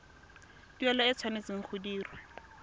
tuelo e tshwanetse go dirwa